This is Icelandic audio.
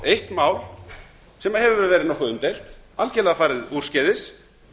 eitt mál nokkuð umdeilt algjörlega farið úrskeiðis